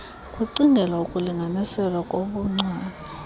kucingelwa ukulinganiselwa kobuncwane